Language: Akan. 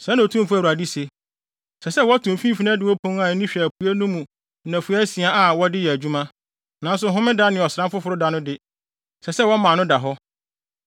“ ‘Sɛɛ na Otumfo Awurade se: Ɛsɛ sɛ wɔto mfimfini adiwo pon a ani hwɛ apuei no mu nnafua asia a wɔde yɛ adwuma, nanso Homeda ne Ɔsram Foforo da no de, ɛsɛ sɛ wɔma ano da hɔ.